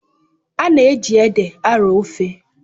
A na-eji ede arọọ ofe.